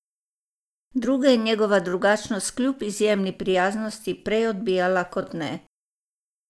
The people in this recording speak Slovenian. Druge je njegova drugačnost kljub izjemni prijaznosti prej odbijala kot ne.